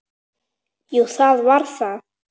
Jú, það var það.